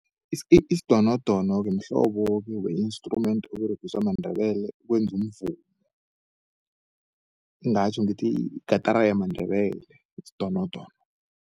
Isidonodono-ke mhlobo-ke we-instrument oberegiswa mandebele ukwenzu umvumo. Ngingatjho ngithi yigatara yamandebele isidonodono.